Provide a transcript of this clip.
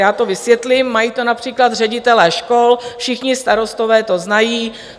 Já to vysvětlím - mají to například ředitelé škol, všichni starostové to znají.